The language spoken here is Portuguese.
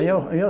Eu, eu